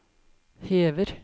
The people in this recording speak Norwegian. hever